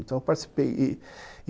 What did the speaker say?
Então, eu participei e